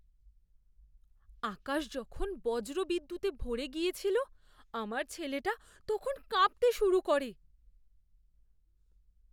আকাশ যখন বজ্রবিদ্যুতে ভরে গিয়েছিল আমার ছেলেটা তখন কাঁপতে শুরু করে।